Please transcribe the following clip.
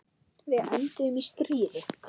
Við enduðum í stríði.